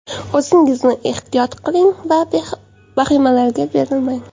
O‘zingizni ehtiyot qiling, vahimalarga berilmang.